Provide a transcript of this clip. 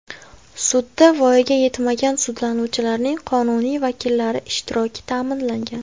Sudda voyaga yetmagan sudlanuvchilarning qonuniy vakillari ishtiroki ta’minlangan.